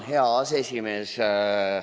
Hea aseesimees!